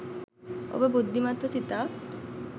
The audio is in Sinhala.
ඔබ බුද්ධිමත්ව සිතා